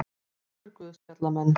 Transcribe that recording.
Fjórir guðspjallamenn.